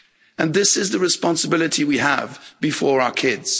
And this is the responsibility we have before our kids.